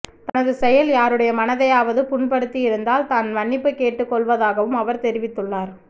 தனது செயல் யாருடைய மனதையாவது புண்படுத்தியிருந்தால் தான் மன்னிப்பு கேட்டுக்கொள்வதாகவும் அவர் தெரிவித்துள்ளார்